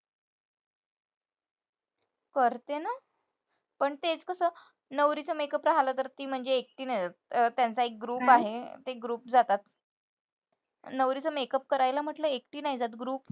करते ना. पण तेचं कसं? नवरीचं makeup राहिलं तर ती म्हणजे एकटी नाही जात. अं त्यांचा एक group आहे. ते group जातात. नवरीचा makeup करायला म्हंटलं एकटी नाही जात, group